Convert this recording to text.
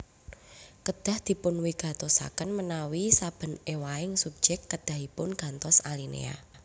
Kedah dipunwigatosaken menawi saben éwahing subjek kedahipun gantos alinéa